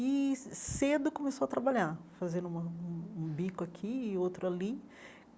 E ce cedo começou a trabalhar, fazendo uma um um bico aqui e outro ali.